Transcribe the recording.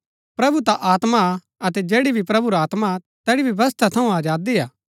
प्रभु ता आत्मा हा अतै जैड़ी भी प्रभु रा आत्मा हा तैड़ी व्यवस्था थऊँ आजादी हा